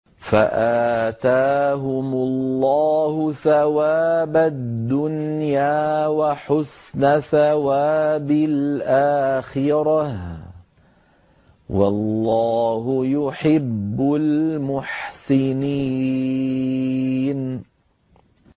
فَآتَاهُمُ اللَّهُ ثَوَابَ الدُّنْيَا وَحُسْنَ ثَوَابِ الْآخِرَةِ ۗ وَاللَّهُ يُحِبُّ الْمُحْسِنِينَ